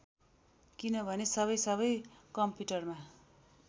किनभने सबै सबै कम्पुटरमा